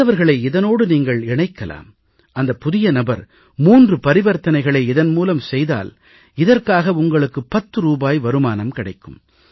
மற்றவர்களை இதனோடு நீங்கள் இணைக்கலாம் அந்தப் புதிய நபர் 3 பரிவர்த்தனைகளை இதன் மூலம் செய்தால் இதற்காக உங்களுக்கு 10 ரூபாய் வருமானம் கிடைக்கும்